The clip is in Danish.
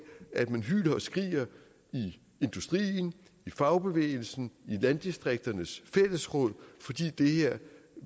at man hyler og skriger i industrien i fagbevægelsen i landdistrikternes fællesråd fordi